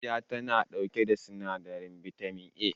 Manja tana ɗauke da sinadarin bitamin A